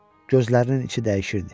Gözlərinin içi dəyişirdi.